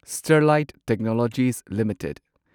Sterlite technologies limited